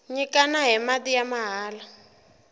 nyikana hi mati ya mahala